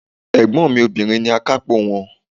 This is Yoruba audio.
Ègbón mi Obìnrin ni akápò won